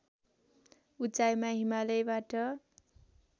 उचाइमा हिमालयबाट